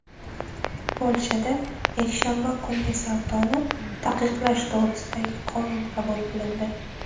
Polshada yakshanba kungi savdoni taqiqlash to‘g‘risidagi qonun qabul qilindi.